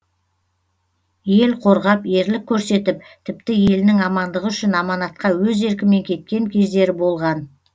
ел қорғап ерлік көрсетіп тіпті елінің амандығы үшін аманатқа өз еркімен кеткен кездері болған